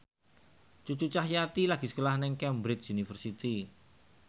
Cucu Cahyati lagi sekolah nang Cambridge University